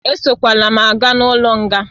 Esokwala m aga n'ụlọ nga